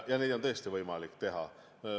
Neid on tõesti võimalik teha.